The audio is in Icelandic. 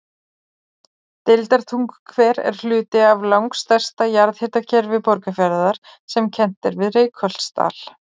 Deildartunguhver er hluti af langstærsta jarðhitakerfi Borgarfjarðar sem kennt er við Reykholtsdal.